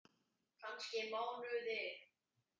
Kannski mánuði!